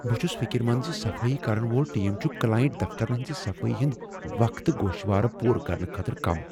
بہٕ چھس فکر مند ز صفٲیی کرن وول ٹیم چھ کلاینٛٹ دفترن ہنٛز صفٲیی ہند وقتگوشوارٕ پوٗرٕ کرنہٕ خٲطرٕ کم ۔